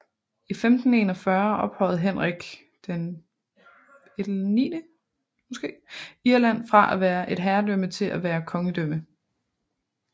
I 1541 ophøjede Henrik VIII Irland fra at være et herredømme til at være kongedømme